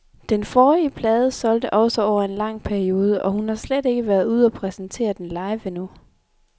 Den forrige plade solgte også over en lang periode, og hun har slet ikke været ude og præsentere den live endnu.